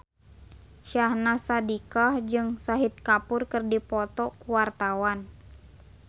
Syahnaz Sadiqah jeung Shahid Kapoor keur dipoto ku wartawan